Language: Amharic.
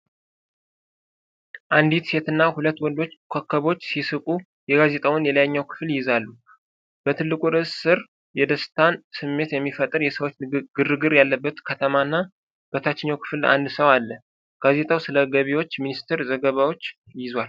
አንዲት ሴትና ሁለት ወንዶች ኮከቦች ሲስቁ፣ የጋዜጣውን የላይኛው ክፍል ይይዛሉ። በትልቁ ርዕስ ስር የደስታን ስሜት የሚፈጥር የሰዎች ግርግር ያለበት ከተማ እና በታችኛው ክፍል አንድ ሰው አለ። ጋዜጣው ስለ ገቢዎች ሚኒስቴር ዘገባዎችን ይዟል።